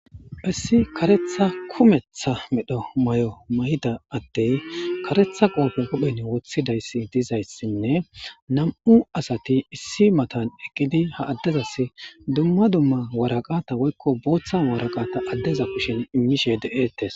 issi karetha kumetha medho may7o may7ida attey karetha qolpen qophen woththidayssi dizayssinne nam7u asati issi matan eqqidi ha addezas dumma dumma waraqata woykko booththa waraqata addeza kushen innishe de7eettes